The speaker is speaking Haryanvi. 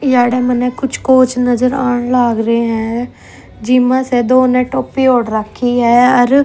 याडे मन्ने कुछ कोच नजर आण लाग रे ह जी म्ह स दो न टोपी ओढ़ राखी ह अर--